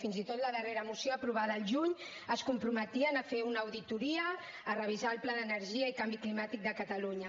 fins i tot la darrera moció aprovada al juny es comprometia a fer una auditoria a revisar el pla d’energia i canvi climàtic de catalunya